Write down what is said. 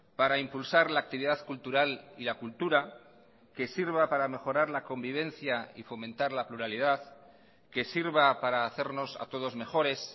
para impulsar la actividad cultural y la cultura que sirva para mejorar la convivencia y fomentar la pluralidad que sirva para hacernos a todos mejores